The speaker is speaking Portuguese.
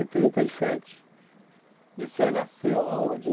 e trinta e sete. E o senhor nasceu aonde?